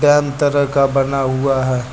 तरह का बना हुआ है।